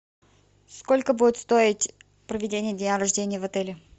сколько будет стоить проведение дня рождения в отеле